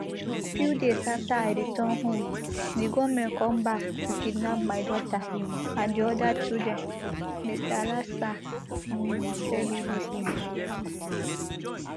a few days after i return home di gunmen come back to kidnap my daughter and di oda children mr alhassan um tell bbc